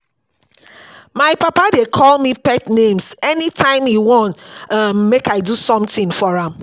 My papa dey call me pet names anytime he wan um make I do something for am